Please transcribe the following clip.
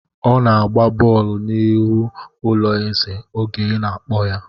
Ọ na-gba bọọlụ n'ihu ụlọ ezè oge ị na-akpọ ya.